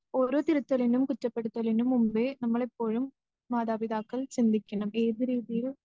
ഓരോ തിരുത്തലിനും കുറ്റപ്പെടുത്തലിനും മുമ്പേ നമ്മളെപ്പോഴും മാതാപിതാക്കൾ ചിന്തിക്കണം ഏത് രീതിയിൽ